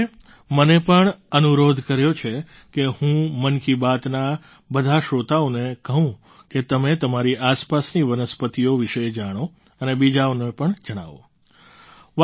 પરિતોષે મને પણ અનુરોધ કર્યો છે કે હું મન કી બાતના બધા શ્રોતાઓને કહું કે તમે તમારી આસપાસની વનસ્પતિઓ વિશે જાણો અને બીજાઓને પણ જણાવો